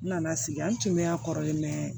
N nana sigi n tun bɛ a kɔrɔlen mɛ